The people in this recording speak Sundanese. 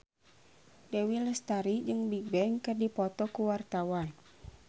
Dewi Lestari jeung Bigbang keur dipoto ku wartawan